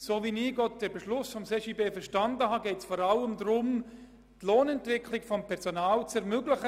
So wie ich den Beschluss des CJB verstanden habe, geht es vor allem darum, mit diesem Ausgleich die Lohnentwicklung beim Personal zu ermöglichen.